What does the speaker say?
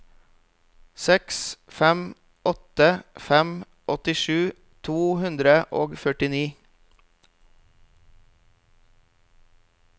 seks fem åtte fem åttisju to hundre og førtini